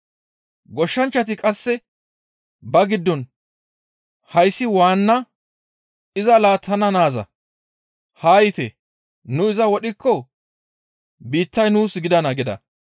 Goshshanchchati qasse ba giddon, ‹Hayssi waanna iza laattana naaza; haa yiite nu iza wodhikko biittay nuus gidana› gida.